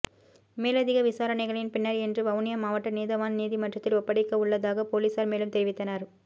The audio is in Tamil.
மேலதிக விசாரணைகளின் பின்னர் இன்று வவுனியா மாவட்ட நீதவான் நீதிமன்றத்தில் ஒப்படைக்கவுள்ளதாக பொலிஸார் மேலும் தெரிவித்தனர்